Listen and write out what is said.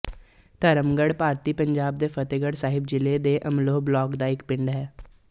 ਧਰਮਗੜ੍ਹ ਭਾਰਤੀ ਪੰਜਾਬ ਦੇ ਫ਼ਤਹਿਗੜ੍ਹ ਸਾਹਿਬ ਜ਼ਿਲ੍ਹੇ ਦੇ ਅਮਲੋਹ ਬਲਾਕ ਦਾ ਇੱਕ ਪਿੰਡ ਹੈ